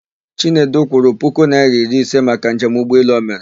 Chinedu kwụrụ puku naịra iri ise maka njem ụgbọelụ o mere.